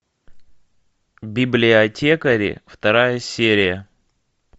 библиотекари вторая серия